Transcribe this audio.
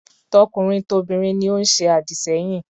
Tokunrin tobinrin ni ó ń se àdìsẹ́yìn.